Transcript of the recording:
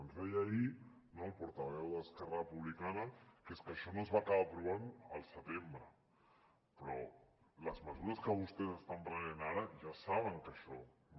ens deia ahir el portaveu d’esquerra republicana que és que això no es va acabar aprovant al setembre però les mesures que vostès estan prenent ara ja saben que això no